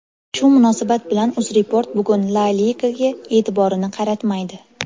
Shu munosabat bilan UzReport bugun La ligaga e’tiborini qaratmaydi.